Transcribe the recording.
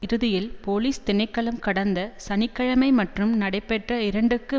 இறுதியில் போலிஸ் திணைக்களம் கடந்த சனி கிழமை மட்டும் நடைபெற்ற இரண்டுக்கு